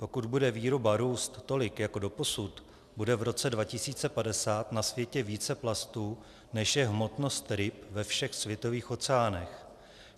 Pokud bude výroba růst tolik jako doposud, bude v roce 2050 na světě více plastů, než je hmotnost ryb ve všech světových oceánech.